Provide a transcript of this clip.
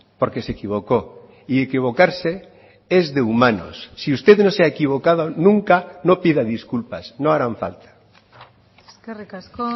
porque se equivocó y equivocarse es de humanos si usted no se ha equivocado nunca no pida disculpas no harán falta eskerrik asko